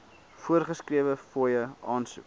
voorgeskrewe fooie aansoek